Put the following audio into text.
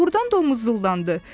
Doğrudan da o muzıldandı.